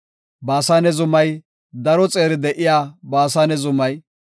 Baasane zumaw, daro xeeri de7iya Baasane zumaw,